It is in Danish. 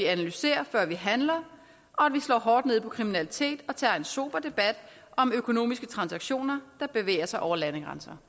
analyserer før man handler og at vi slår hårdt ned på kriminalitet og tager en sober debat om økonomiske transaktioner over landegrænser